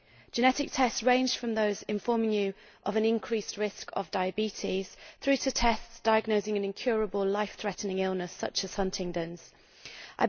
Genetic tests range from those informing you of an increased risk of diabetes through to tests diagnosing an incurable, life threatening illness such as Huntington's disease.